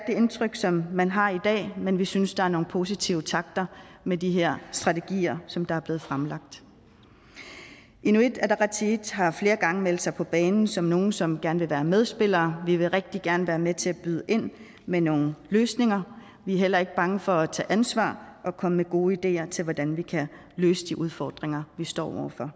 indtryk som man har i dag men vi synes at der er nogle positive takter med de her strategier som der er blevet fremlagt inuit ataqatigiit har flere gange meldt sig på banen som nogle som gerne vil være medspillere vi vil rigtig gerne være med til at byde ind med nogle løsninger vi er heller ikke bange for at tage ansvar og komme med gode ideer til hvordan vi kan løse de udfordringer vi står over for